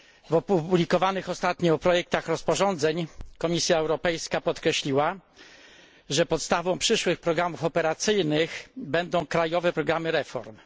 W opublikowanych ostatnio projektach rozporządzeń Komisja Europejska podkreśliła, że podstawą przyszłych programów operacyjnych będą krajowe programy reform.